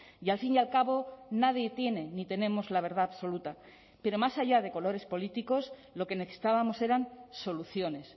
y al fin y al cabo nadie tiene ni tenemos la verdad absoluta pero más allá de colores políticos lo que necesitábamos eran soluciones